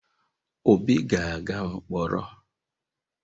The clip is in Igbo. Obi ga-aga mkpọrọ?